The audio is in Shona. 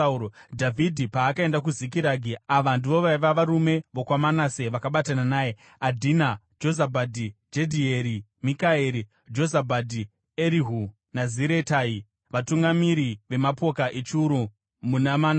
Dhavhidhi paakaenda kuZikiragi, ava ndivo vaiva varume vokwaManase vakabatana naye: Adhina, Jozabhadhi, Jedhieri, Mikaeri, Jozabhadhi, Erihu naZiretai, vatungamiri vemapoka echiuru muna Manase.